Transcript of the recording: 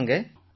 ஆமாங்க